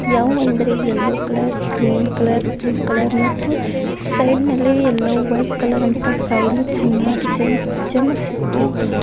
ಯಾವ್ ಅಂದ್ರಿ yellow colour green colour blue colour ಮತ್ತು ಸೈಡ್ ನಲ್ಲಿ ಎಲ್ಲೋ ವೈಟ್ ಕಲರ್ ಅಂತಾ ಮತ್ತು ಫೈಲು ಚೆನ್ನಾಗಿ ಜಮ್ ಜಮ್ ಇಕ್ಕಿದ್ದಾರೆ.